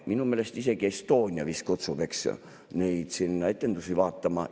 Minu meelest isegi Estonia kutsub sinna etendusi vaatama.